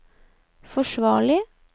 forsvarlig